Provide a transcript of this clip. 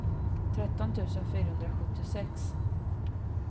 tretton tusen fyrahundrasjuttiosex